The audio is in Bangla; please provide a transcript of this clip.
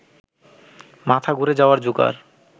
মাথা ঘুরে যাওয়ার জোগাড়